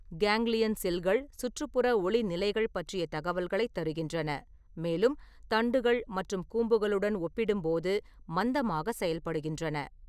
Ganglion செல்கள் சுற்றுப்புற ஒளி நிலைகள் பற்றிய தகவல்களைத் தருகின்றன, மேலும் தண்டுகள் மற்றும் கூம்புகளுடன் ஒப்பிடும்போது மந்தமாக செயல்படுகின்றன.